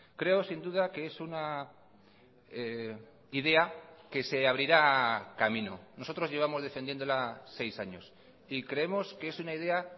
creo sin duda que es una idea que se abrirá camino nosotros llevamos defendiéndola seis años y creemos que es una idea